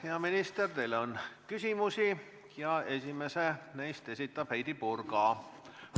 Hea minister, teile on küsimusi ja esimese neist esitab Heidy Purga.